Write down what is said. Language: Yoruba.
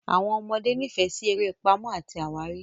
Àwọn ọmọdé nífẹ̀ẹ́ sí eré Pàmò àti àwárí.